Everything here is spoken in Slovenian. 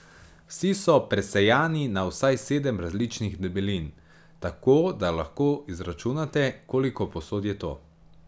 Vsi so presejani na vsaj sedem različnih debelin, tako da lahko izračunate, koliko posod je to.